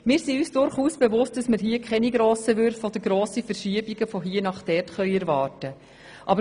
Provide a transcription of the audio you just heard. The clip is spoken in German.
Wir sind uns durchaus bewusst, dass wir hier keine grossen Würfe oder Verschiebungen von hier nach dort erwarten können.